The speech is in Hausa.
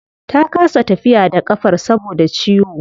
Ta kasa tafiya da kafar saboda ciwo